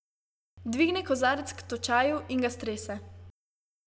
Dvigne kozarec k točaju in ga strese.